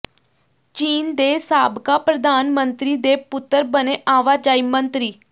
ਚੀਨ ਦੇ ਸਾਬਕਾ ਪ੍ਰਧਾਨ ਮੰਤਰੀ ਦੇ ਪੁੱਤਰ ਬਣੇ ਆਵਾਜਾਈ ਮੰਤਰੀ